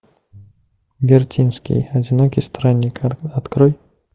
вертинский одинокий странник открой